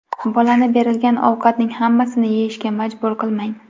Bolani berilgan ovqatning hammasini yeyishga majbur qilmang.